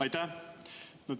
Aitäh!